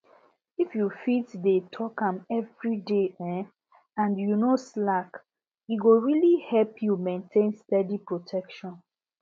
if you fit dey take am every day um and you no slack e go really help you maintain steady protection